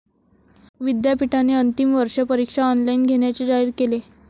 विद्यापीठाने अंतिम वर्ष परीक्षा ऑनलाइन घेण्याचे जाहीर केले.